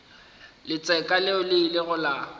letseka leo le ilego la